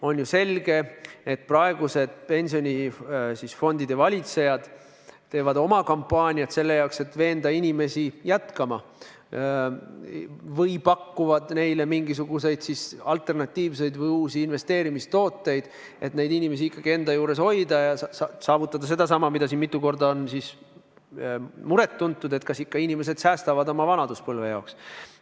On ju selge, et praegused pensionifondide valitsejad teevad kampaaniat selle jaoks, et veenda inimesi jätkama, või pakuvad neile mingeid alternatiivseid, uusi investeerimistooteid, et inimesi ikkagi enda juures hoida ja saavutada seda, mille pärast siin mitu korda on muret väljendatud: et inimesed ikka säästavad oma vanaduspõlve jaoks.